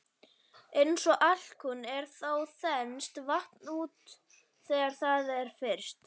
Eins og alkunna er þá þenst vatn út þegar það er fryst.